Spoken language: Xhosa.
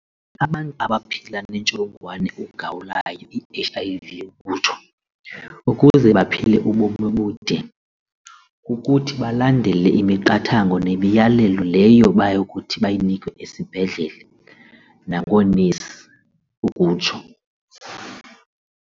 Abantu abaphila nentsholongwane ugawulayo i-H_I_V ukutsho ukuze baphile ubomi obude kukuthi balandele imiqathango nemiyalelo leyo bayokuthi bayinikwe esibhedlele nangoonesi ukutsho.